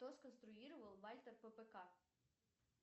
кто сконструировал вальтер ппк